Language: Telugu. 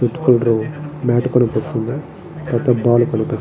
రెడ్ కలర్ మ్యాట్ కనిపిస్తోంది. పెద్ద బాల్ కనిపిస్తా--